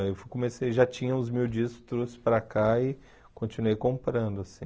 Aí eu comecei, já tinha uns mil discos, trouxe para cá e continuei comprando, assim.